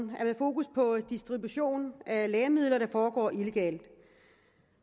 med fokus på distribution af lægemidler der foregår illegalt